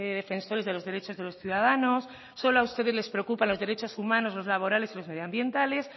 defensores de los derechos de los ciudadanos solo a ustedes les preocupa los derechos humanos lo laborales y los medioambientales